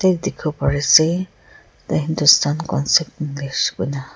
jatte dekhi bo Parise the hindustan concept english kina--